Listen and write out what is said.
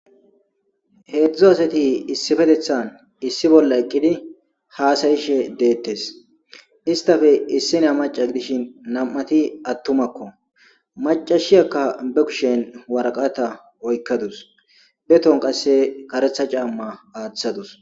heedzdzu asati issifetethan issi bolla eqqidi haasayishe deettes istafe issina maca dishin nam7ati attumakko macashiyakka be kushen waraqata oykkadus beton qasse karetha camma aaththadus